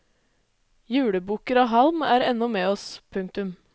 Julebukker av halm er ennå med oss. punktum